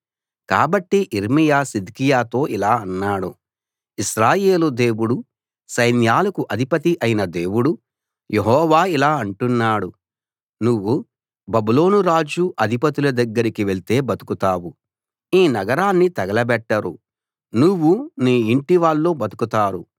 కాబట్టి యిర్మీయా సిద్కియాతో ఇలా అన్నాడు ఇశ్రాయేలు దేవుడు సైన్యాలకు అధిపతి అయిన దేవుడు యెహోవా ఇలా అంటున్నాడు నువ్వు బబులోను రాజు అధిపతుల దగ్గరికి వెళ్తే బతుకుతావు ఈ నగరాన్ని తగలబెట్టరు నువ్వూ నీ ఇంటి వాళ్ళు బతుకుతారు